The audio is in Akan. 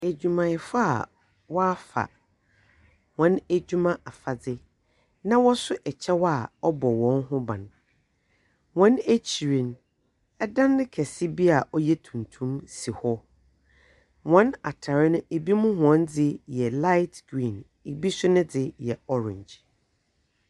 Edwumayɛfo a wafa wɔn edwuma afadze, na wɔso ɛkyɛw a ɔbɔ wɔn ho ban. Wɔn ekyir no, ɛdan kɛse bi a ɔyɛ tuntum si hɔ. Wɔn atar no ebinom wɔndze yɛ laet griin, ebi so nedze yɛ ɔrange.